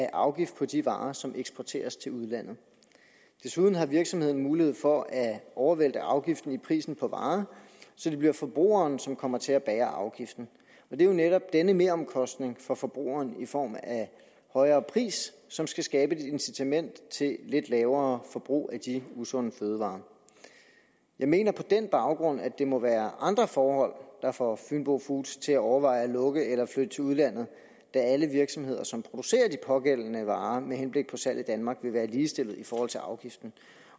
afgift på de varer som eksporteres til udlandet desuden har virksomheden mulighed for at overvælte afgiften i prisen på varen så det bliver forbrugeren som kommer til at bære afgiften og det er jo netop denne meromkostning for forbrugerne i form af højere pris som skal skabe et incitament til lidt lavere forbrug af de usunde fødevarer jeg mener på den baggrund at det må være andre forhold der får fynbo foods til at overveje at lukke eller flytte til udlandet da alle virksomheder som producerer de pågældende varer med henblik på salg i danmark vil være ligestillet i forhold til afgiften